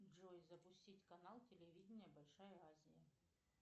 джой запустить канал телевидение большая азия